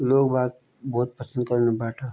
लोग बाग़ बहौत पसंद करण बैठा।